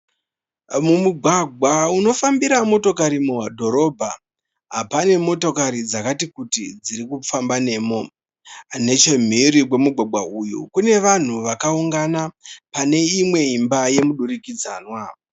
Mumugwagwa unofambira motokari mudhorobha, pane motokari dzakati kuti dziri kufamba nemo. Nechimhiri kwemugwagwa uyu kune vanhu vakaungana, pane imwe imba yemudurikidzanwa.